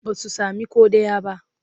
Ba su sami ko ɗaya ba.